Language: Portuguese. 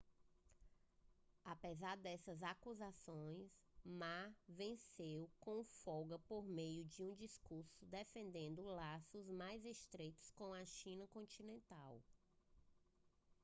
apesar dessas acusações ma venceu com folga por meio de um discurso defendendo laços mais estreitos com a china continental